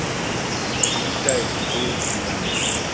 le ditaelo tse di maleba